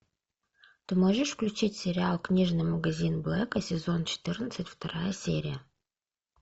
ты можешь включить сериал книжный магазин блэка сезон четырнадцать вторая серия